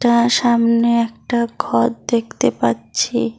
আর সামনে একটা ঘর দেখতে পাচ্ছি।